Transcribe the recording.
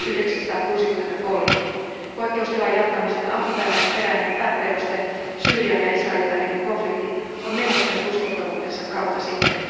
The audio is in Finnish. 1963. Poikkeustilan jatkamisen alkuperäinen pääperuste, Syyrian ja Israelin välinen konflikti, on menettänyt uskottavuutensa kauan sitten.